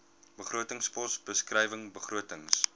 begrotingspos beskrywing begrotings